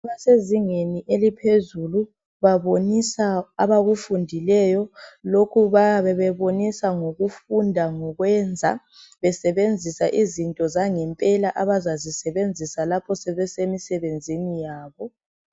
Abasezingeni eliphezulu babonisa abakufundileyo ,lokhu bayabe bebonisa ngokufunda ngokwenza ,lapho besesebenza izinto zangempela abazazisebenzisa lapho sebesemisebenzini yabo.